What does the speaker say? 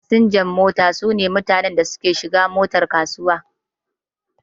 Fasinjan mota su ne mutanen da suke shiga motar kasuwa.